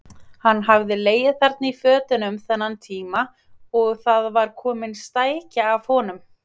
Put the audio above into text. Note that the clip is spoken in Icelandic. Hann hafði legið þarna í fötunum þennan tíma og það var komin stækja af honum.